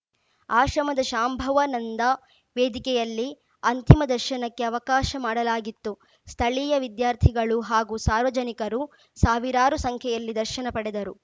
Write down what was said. ಆಶ್ರಮದ ಶಾಂಭವನಂದಾ ವೇದಿಕೆಯಲ್ಲಿ ಅಂತಿಮ ದರ್ಶನಕ್ಕೆ ಅವಕಾಶ ಮಾಡಲಾಗಿತ್ತು ಸ್ಥಳೀಯ ವಿದ್ಯಾರ್ಥಿಗಳು ಹಾಗೂ ಸಾರ್ವಜನಿಕರು ಸಾವಿರಾರು ಸಂಖ್ಯೆಯಲ್ಲಿ ದರ್ಶನ ಪಡೆದರು